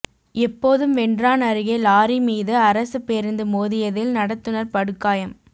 எப்போதும்வென்றான் அருகே லாரி மீது அரசு பேருந்து மோதியதில் நடத்துநா் படுகாயம்